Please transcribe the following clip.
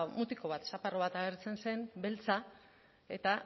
mutiko bat bat agertzen zen beltza eta